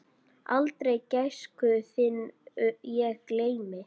Aldrei gæsku þinni ég gleymi.